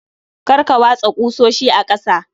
Kar Ka watsa ƙusoshi a ƙasa